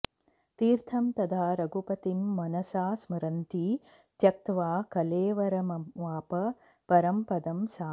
तीर्थं तदा रघुपतिं मनसा स्मरन्ती त्यक्त्वा कलेवरमवाप परं पदं सा